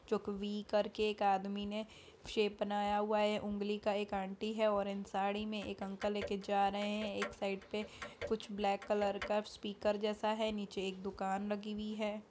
चौक V करके एक आदमी ने शेप बनाया हुआ है उंगली का एक आंटी है ऑरेंज साड़ी में एक अंकल लेकर जा रहे हैं एक साइड पे कुछ ब्लैक कलर का स्पीकर जैसा है नीचे एक दुकान लगी हुई है।